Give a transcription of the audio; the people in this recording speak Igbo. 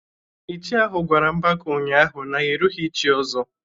Ichie ahu gwara Mbaka ụnyahụ na ya erughị ị chi Ozo.